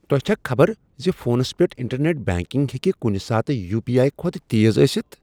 تۄہہ چھا خبر ز فونس پیٹھ انٹرنیٹ بینکنگ ہیٚکہ کنٗہ ساتہٕ یو پی آٮٔی کھۄتہٕ تیز ٲستھ؟